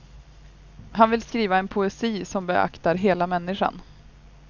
Han vill skriva en poesi som beaktar hela människan.